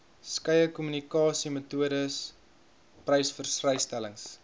skeie kommunikasiemetodes persvrystellings